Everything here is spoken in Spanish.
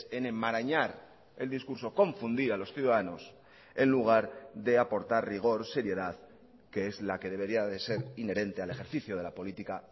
en enmarañar el discurso confundir a los ciudadanos en lugar de aportar rigor seriedad que es la que debería de ser inherente al ejercicio de la política